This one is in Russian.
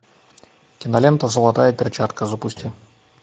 кинолента золотая перчатка запусти